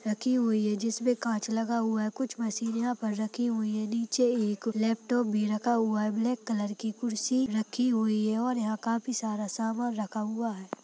रखी हुई है जिसमें कांच लगा हुआ है कुछ मशीन यहाँ पर रखी हुई है नीचे एक लैपटॉप भी रखा हुआ है ब्लैक की कुर्सी रखी हुई है और यहाँ काफी सारा सामान रखा हुआ है।